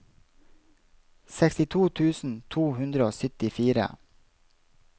sekstito tusen to hundre og syttifire